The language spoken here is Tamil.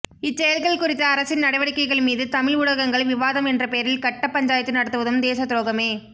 இச்செயல்கள் குறித்த அரசின் நடவடிக்கைகள்மீது தமிழ் ஊடகங்கள் விவாதம் என்ற பெயரில் கட்ட பஞ்சாயத்து நடத்துவதும் தேச துரோகமே